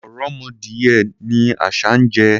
Ọ̀rọ̀mọdìyẹ ni àṣah ń jẹ.